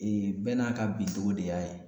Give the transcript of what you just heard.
bɛɛ n'a ka bidow de y'a ye.